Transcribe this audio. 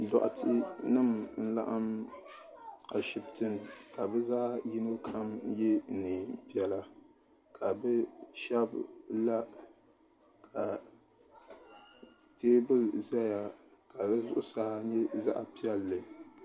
Dɔɣite nima n-laɣim Ashibiti ni ka bɛ zaa yino kam ye neen' piɛla ka bɛ shɛba la ka teebuli zaya ka di zuɣusaa nyɛ zaɣ' piɛlli.